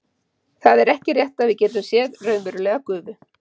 það er ekki rétt að við getum séð raunverulega gufu